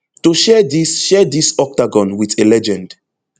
to share dis share dis octagon wit a legend